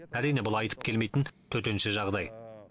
әрине бұл айтып келмейтін төтенше жағдай